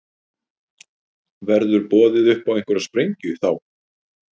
Verður boðið upp á einhverja sprengju þá?